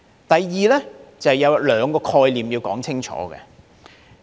第二，就是有兩個概念要說清楚。